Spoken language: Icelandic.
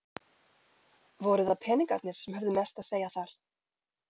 Voru það peningarnir sem höfðu mest að segja þar?